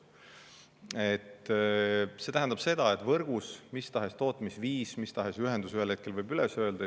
See tähendab seda, et võrgus mis tahes tootmisviis või mis tahes ühendus ühel hetkel võib üles öelda.